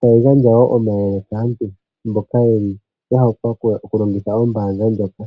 tayi gandja wo omayele kaantu mboka ye li ya wapa okulongitha ombaanga ndjoka.